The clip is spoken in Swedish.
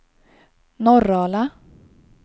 Norrala